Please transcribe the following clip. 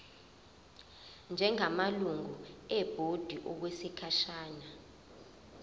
njengamalungu ebhodi okwesikhashana